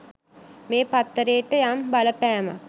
මේ පත්තරේට යම් බලපෑමක්.